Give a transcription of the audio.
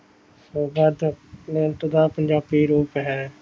ਜਾਪੁ ਮੰਤ ਦਾ ਪੰਜਾਬੀ ਰੂਪ ਹੈ